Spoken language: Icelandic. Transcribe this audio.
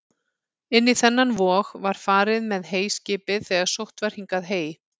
Inn í þennan vog var farið með heyskipið þegar sótt var hingað hey.